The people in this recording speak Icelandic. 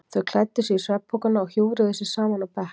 Þau klæddu sig í svefnpokana og hjúfruðu sig saman á bekk.